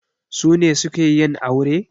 Su ne suke yin aure?